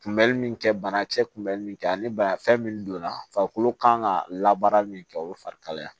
Kunbɛli min kɛ banakisɛ kun bɛ min kɛ ani bana fɛn min donna farikolo kan ka labaara min kɛ o ye farikalaya ye